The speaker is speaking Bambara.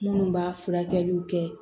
Minnu b'a furakɛliw kɛ